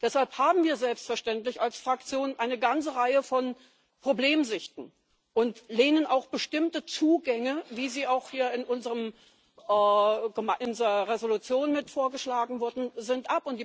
Deshalb haben wir selbstverständlich als Fraktion eine ganze Reihe von Problemsichten und lehnen auch bestimmte Zugänge ab, wie sie auch hier in unserer Resolution vorgeschlagen worden sind.